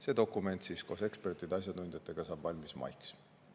See dokument saab koostöös ekspertide ja asjatundjatega valmis maiks.